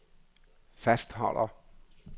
fastholder